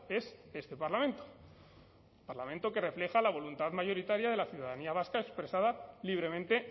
es este parlamento parlamento que refleja la voluntad mayoritaria de la ciudadanía vasca expresada libremente